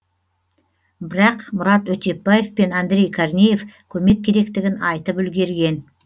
бірақ мұрат өтепбаев пен андрей корнеев көмек керектігін айтып үлгерген